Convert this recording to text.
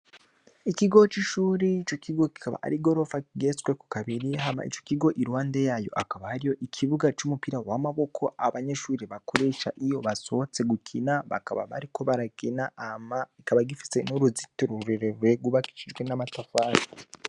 Ikigo c'ishuri, ico kigo kikaba ari igorofa rigeretsweko kabiri. Ham ico kigo iruhande yaco hakaba hari ikibuga c'umupira w'amaboko abanyeshure bakoresha iyo basohotse gukina, bakaba bariko barakina hama kikaba gifise n'uruzitiro rurerure rw'ubakishijwe n'amatafari.